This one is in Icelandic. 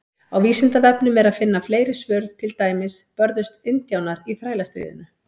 Á Vísindavefnum er að finna fleiri tengd svör, til dæmis: Börðust indjánar í Þrælastríðinu?